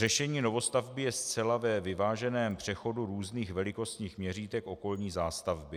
Řešení novostavby je zcela ve vyváženém přechodu různých velikostních měřítek okolní zástavby.